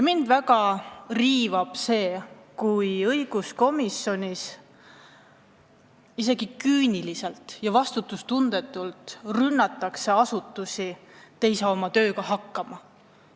Mind väga riivab see, kui õiguskomisjonis lausa küüniliselt ja vastutustundetult rünnatakse asutusi, et nad ei saa oma tööga hakkama.